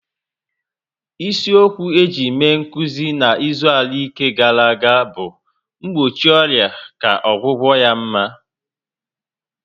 Isi okwu eji mere nkụzi na izu arụike gara aga bụ "mgbochi ọrịa ka ọgwụgwụ ya mma"